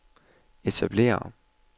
etablere